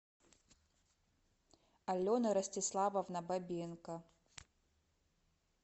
алена ростиславовна бабенко